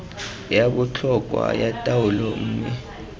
ya botlhokwa ya taolo mme